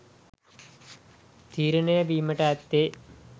තීරණය වීමට ඇත්තේ.